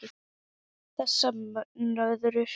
Þessar nöðrur!